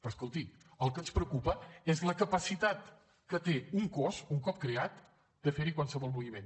però escolti el que ens preocupa és la capacitat que té un cos un cop creat de fer hi qualsevol moviment